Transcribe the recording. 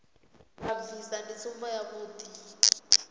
vha bvisa ndi tsumbo yavhuḓi